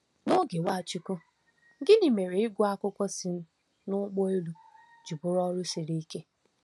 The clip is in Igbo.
N’oge Nwachukwu, gịnị mere ịgụ akwụkwọ si n’ụgbọ elu ji bụrụ ọrụ siri ike?